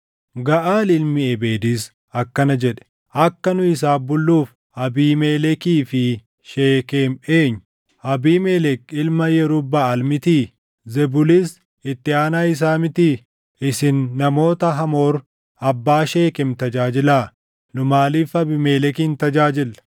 Gaʼaal ilmi Ebeedis akkana jedhe; “Akka nu isaaf bulluuf Abiimelekii fi Sheekem eenyu? Abiimelek ilma Yerub-Baʼaal mitii? Zebulis itti aanaa isaa mitii? Isin namoota Hamoor abbaa Sheekem tajaajilaa! Nu maaliif Abiimelekin tajaajillaa?